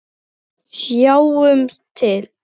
Sjáum til!